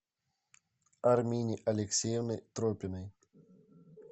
армине алексеевной тропиной